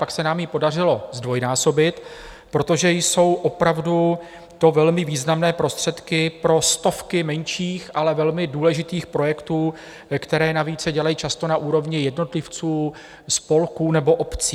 Pak se nám ji podařilo zdvojnásobit, protože jsou opravdu to velmi významné prostředky pro stovky menších, ale velmi důležitých projektů, které navíc se dělají často na úrovni jednotlivců, spolků nebo obcí.